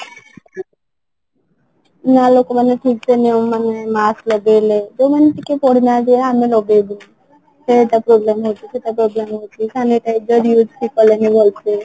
ନା ଲୋକ ମାନେ ଠିକ ସେ ନିୟମ ମାନେ ମାସ୍କ ଲଗେଇଲେ ଯୋଉ ମାନେ ଟିକେ ପଢିନାହାନ୍ତି ଆମେ ଲଗେଇଦେଲୁ ସେଟା problem ହଉଚି ସେତ problem ହଉଚି Sanitizer use ବି କଲେନି ଭଲସେ